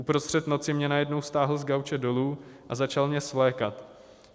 Uprostřed noci mě najednou stáhl z gauče dolů a začal mě svlékat.